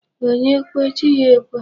Onye kwe, chi ya ekwe.